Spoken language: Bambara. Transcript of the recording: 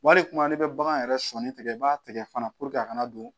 Wali kuma n'i bɛ bagan yɛrɛ sɔni tigɛ i b'a tigɛ fana a kana don